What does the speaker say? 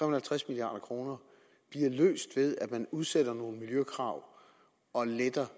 og halvtreds milliard kroner bliver løst ved at man udsætter nogle miljøkrav og letter